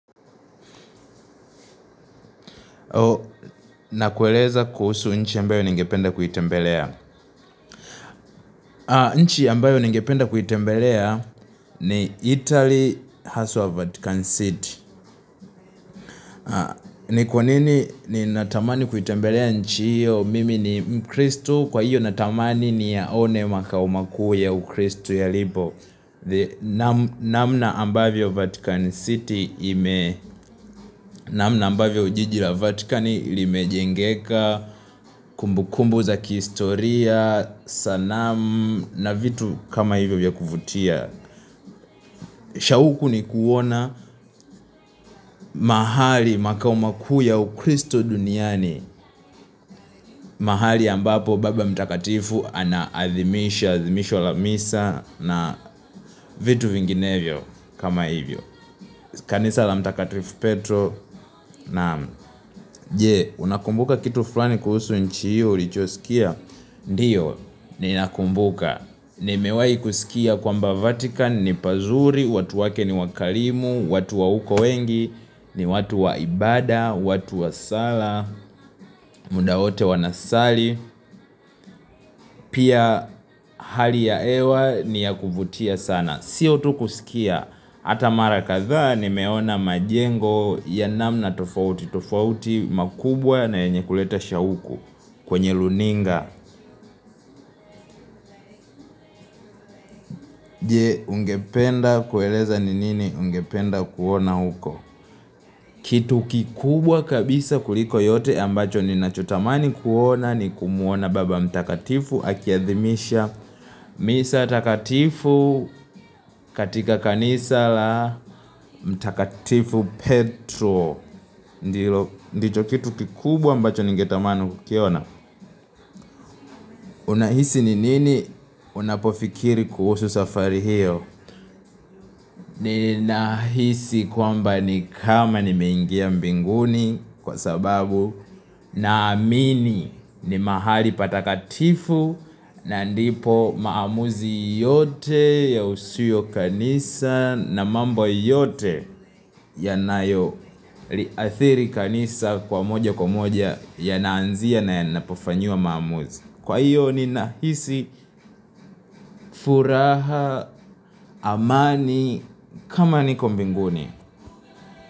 Nakueleza kuhusu nchi ambayo ningependa kuitembelea. Nchi ambayo ningependa kuitembelea ni Italy House of Vatican City. Ni kwa nini ninatamani kuitembelea nchi hiyo mimi ni mkristo. Kwa hiyo natamani niyaone makao makuu ya ukristo ya libo. Namna ambayo Vatican City ime namna ambavyo jiji la Vatican limejengeka. Kumbu kumbu za kihistoria Sanamu Na vitu kama hivyo vya kuvutia. Shauku ni kuona. Mahali makao makuu ya ukristo duniani. Mahali ambapo baba mtakatifu ana adhimisha adhimisho la misa na vitu vinginevyo kama hivyo. Kanisa la mtakatifu petro. Naam jee. Unakumbuka kitu fulani kuhusu nchi hiyo. Ulichosikia. Ndiyo. Ninakumbuka. Nimewai kusikia kwamba Vatican ni pazuri, watu wake ni wakarimu, watu wa uko wengi, ni watu wa ibada, watu wa sala, muda wote wanasali. Pia hali ya hewa ni ya kuvutia sana, sio tu kusikia hata mara kadhaa nimeona majengo ya namna tofauti, tofauti makubwa na yenye kuleta shauku kwenye runinga. Je ungependa kueleza ni nini ungependa kuona huko. Kitu kikubwa kabisa kuliko yote ambacho ninachotamani kuona ni kumwona baba mtakatifu akiadhimisha misa takatifu katika kanisa la mtakatifu petro. Ndicho kitu kikubwa ambacho ningetamani kukiona. Unahisi ni nini unapofikiri kuhusu safari hiyo. Ninahisi kwamba ni kama nimeingia mbinguni kwa sababu naamini ni mahali patakatifu na ndipo maamuzi yote ya usiyo kanisa na mambo yote yanayoliathiri kanisa kwa moja kwa moja yanaanzia na yanapofanyiwa maamuzi. Kwa hiyo ninahisi furaha amani kama niko mbinguni.